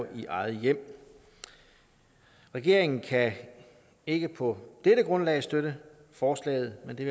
i eget hjem regeringen kan ikke på dette grundlag støtte forslaget men det